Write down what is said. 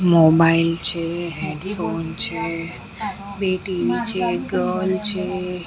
Mobile છે headphone છે બે ટી_વી છે એક ડોલ છે.